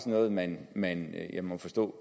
noget man man har må jeg forstå